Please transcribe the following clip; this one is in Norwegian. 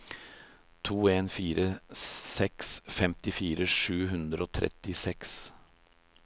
to en fire seks femtifire sju hundre og trettiseks